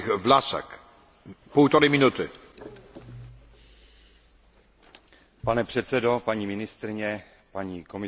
Pane předsedo, paní ministryně, paní komisařko, dámy a pánové, chtěl bych zareagovat na toto poslední vystoupení.